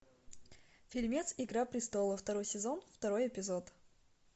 фильмец игра престолов второй сезон второй эпизод